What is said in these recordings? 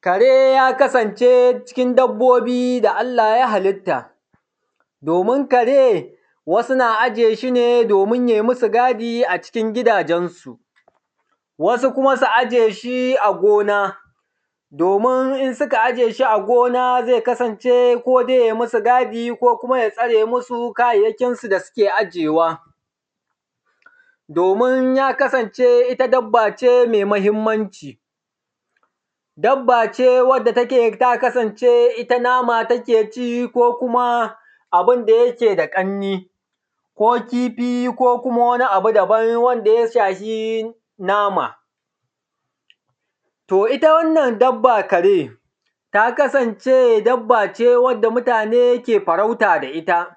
kare ya kasance cikin dabbobi da Allah ya halitta domin kare wasu na aje shi ne domin ya yi musu gadi a cikin gidajen su wasu kuma su aje shi a gona domin in suka aje shi a gona zai kasance ko dai ya yi musu gadi ko kuma ya tsare musu kayayyakin su da suke ajiyewa domin ya kasance ita dabba ce mai muhimmanci dabba ce wacce take ta kasance ita nama take ci ko kuma abunda yake da ƙarni ko kifi ko kuma wani abu daban wanda ya shafi nama to ita wannan dabba kare ta kasance dabba ce wacce mutane ke farauta da ita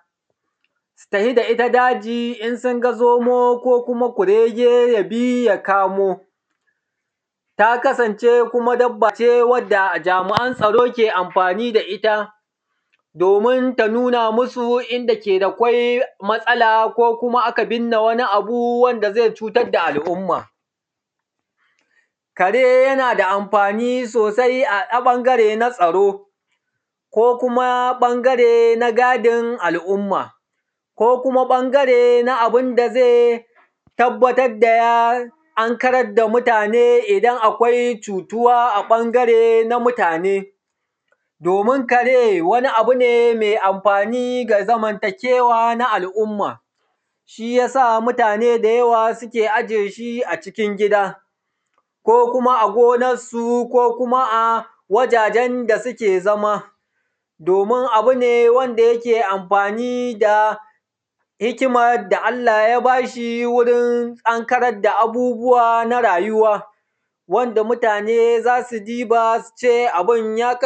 su tafi da ita daji in sun ga zomo ko kuma kurege yabi ya kamo ta kasance kuma dabba ce wadda jami’an tsaro ke amfani da ita domin ta nuna musu inda ke da kwai matsala ko kuma aka birne wani abu wanda zai cutar da al’umma kare yana da amfani sosai a ɓangare na tsaro ko kuma ɓangare na gadin al’umma ko kuma ɓangare da zai tabbatar da ya ankarar da mutane idan akwai cutuwa a ɓangare na mutane domin kare wani abu ne mai amfani ga zamantakewa na al’umma shi yasa mutane da yawa suke aje shi a cikin gida ko kuma a gonar su ko kuma a wajajen da suke zama domin abu ne wanda yake amfani da hikimar da Allah ya bashi wurin ankarar da abubuwa na rayuwa wanda mutane zasu diba suce abun